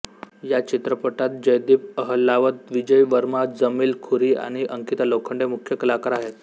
या चित्रपटात जयदीप अहलावत विजय वर्मा जमील खुरी आणि अंकिता लोखंडे मुख्य कलाकार आहेत